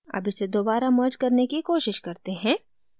अब इसे दोबारा merge करने की कोशिश करते हैं